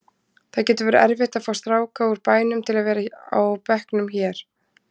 Það getur verið erfitt að fá stráka úr bænum til að vera á bekknum hér.